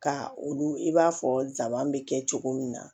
Ka olu i b'a fɔ sabanan bɛ kɛ cogo min na